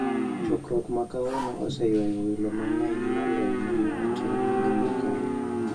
Chokruok ma kawuono oseywayo welo mang'eny moloyo ma ne otim higa mokalo.